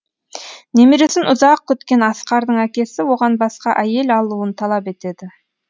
немересін ұзақ күткен асқардың әкесі оған басқа әйел алуын талап етеді